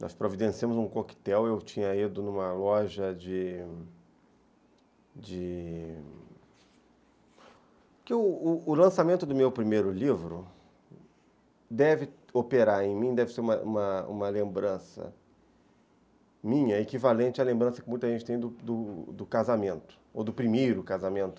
Nós providenciamos um coquetel, eu tinha ido numa loja de...de... Porque o o lançamento do meu primeiro livro deve operar em mim, deve ser uma uma uma lembrança minha, equivalente à lembrança que muita gente tem do do casamento, ou do primeiro casamento.